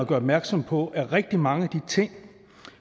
opmærksom på at rigtig mange af de ting